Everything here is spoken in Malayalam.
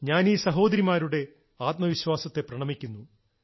ഞാനീ സഹോദരിമാരുടെ ആത്മവിശ്വാസത്തെ പ്രണമിക്കുന്നു